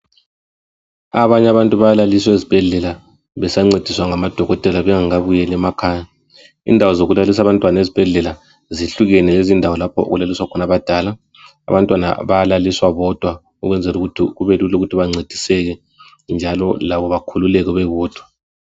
Abanye abantu bayalaliswa ezibhedlela, besancediswa ngamadokotela, bengakabuyeli emakhaya. Indawo zokulalisa abantwana lezibhedlela, zehlukene lezindawo lapha okulaliswa khona abadala. Abantwana bayalaliswa bodwa, ukwenzelukuthi kubelula ukuthi bancediseke njalo labo bakhululeke bebodwa.